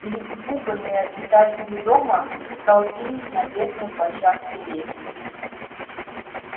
перепуганные обитатели дома столпились на верхней площадке лестницы